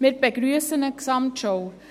Wir begrüssen eine Gesamtschau.